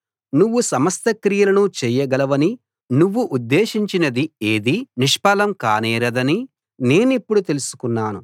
నువ్వు సమస్త క్రియలను చేయగలవనీ నువ్వు ఉద్దేశించినది ఏదీ నిష్ఫలం కానేరదనీ నేనిప్పుడు తెలుసుకున్నాను